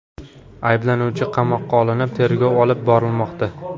Ayblanuvchi qamoqqa olinib, tergov olib borilmoqda.